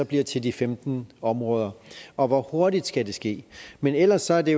bliver til de femten områder og hvor hurtigt skal det ske men ellers er det